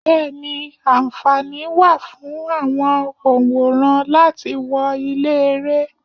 Bẹẹni, anfaani wà fún àwọn onworan láti wọ ilé-ere.